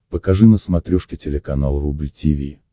покажи на смотрешке телеканал рубль ти ви